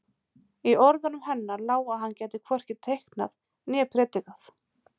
Í orðunum hennar lá að hann gæti hvorki teiknað né predikað.